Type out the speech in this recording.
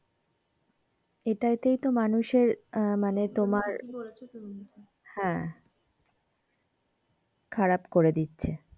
এইটাতেই মানুষের এর মানে তোমার হ্যাঁ খারাপ করে দিচ্ছে।